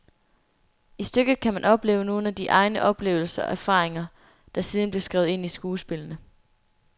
I stykket kan man opleve nogle af de egne oplevelser og erfaringer, der siden bliver skrevet ind i skuespillene.